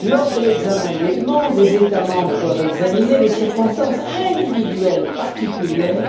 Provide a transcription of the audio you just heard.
Lors de l'examen des demandes, les États membres doivent examiner les circonstances individuelles particulières